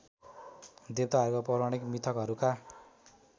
देवताहरूको पौराणिक मिथकहरूका